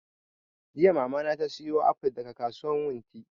Jiya mama ta saya aful daga kasuwan wunti